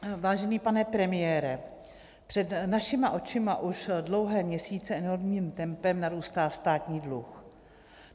Vážený pane premiére, před našima očima už dlouhé měsíce enormním tempem narůstá státní dluh.